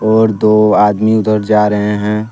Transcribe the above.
और दो आदमी उधर जा रहे हैं।